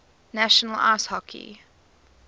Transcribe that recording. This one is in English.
national ice hockey